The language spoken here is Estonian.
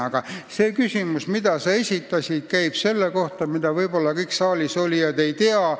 Aga küsimus, mille sa esitasid, käib selle kohta, mida võib-olla kõik saalis olijad ei tea.